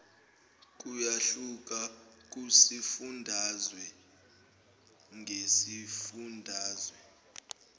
kuyahluka kusifundazwe ngesifundazwe